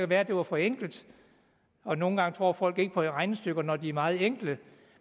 være det var for enkelt og nogle gange tror folk ikke på regnestykker når de er meget enkle